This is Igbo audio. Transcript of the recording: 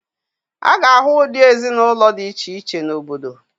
A ga-ahụ ụdị ezinaụlọ dị iche iche n'obodo.